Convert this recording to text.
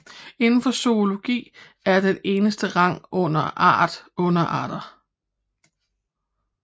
Inden for zoologi er den eneste rang under art underarten